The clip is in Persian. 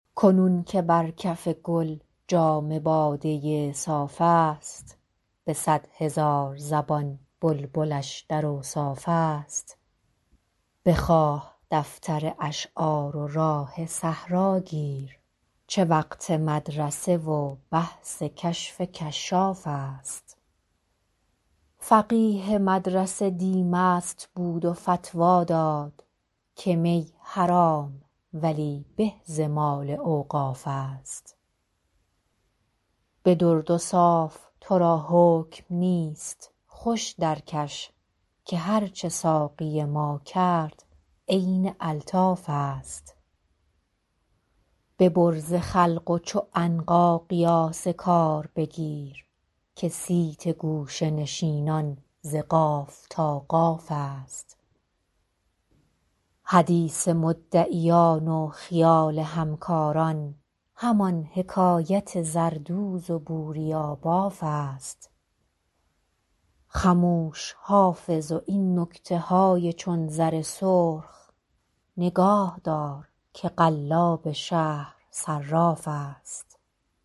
کنون که بر کف گل جام باده صاف است به صد هزار زبان بلبلش در اوصاف است بخواه دفتر اشعار و راه صحرا گیر چه وقت مدرسه و بحث کشف کشاف است فقیه مدرسه دی مست بود و فتوی داد که می حرام ولی به ز مال اوقاف است به درد و صاف تو را حکم نیست خوش درکش که هرچه ساقی ما کرد عین الطاف است ببر ز خلق و چو عنقا قیاس کار بگیر که صیت گوشه نشینان ز قاف تا قاف است حدیث مدعیان و خیال همکاران همان حکایت زردوز و بوریاباف است خموش حافظ و این نکته های چون زر سرخ نگاه دار که قلاب شهر صراف است